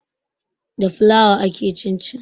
Da fulawa ake cin cin